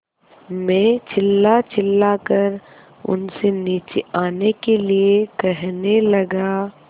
मैं चिल्लाचिल्लाकर उनसे नीचे आने के लिए कहने लगा